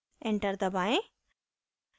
enter दबाएं